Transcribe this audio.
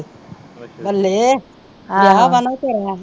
ਵਿਆਹ ਵਾ ਨਾ ਤੇਰਾ ਆ